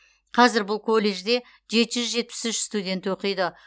қазір бұл колледжде жеті жүз жетпіс үш студент оқиды